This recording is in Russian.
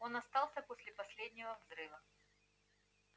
он остался после последнего взрыва